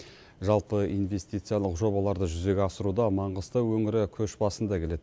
жалпы инвестициялық жобаларды жүзеге асыруда маңғыстау өңірі көш басында келеді